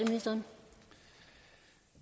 i